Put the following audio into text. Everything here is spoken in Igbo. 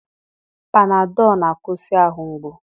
Panadọl na-akwụsị ahụ mgbu.